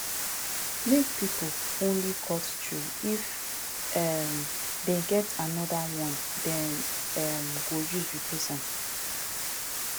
make pipo only cut tree if um dem get anodir one dem um go use replace am